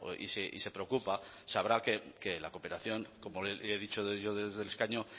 y se preocupa sabrá que la cooperación como le he dicho yo desde el escaño